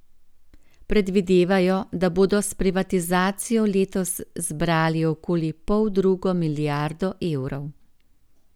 Predvidevajo, da bodo s privatizacijo letos zbrali okoli poldrugo milijardo evrov.